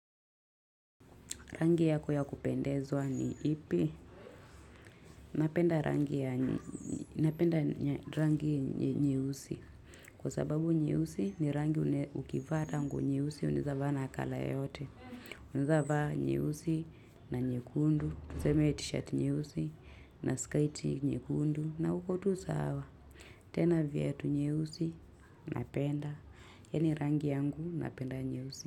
Rangi yako ya kupendezwa ni ipi. Napenda rangi nye usi. Kwa sababu nye usi ni rangi ukivaata nguo nye usi unaeza vaa na kala yote. Unaeza vaa nye usi na nye kundu. Tuzeme t-shirt nye usi na skite nye kundu. Na uko tuza hawa. Tena viatu nyeusi napenda. Yani rangi yangu napenda nye usi.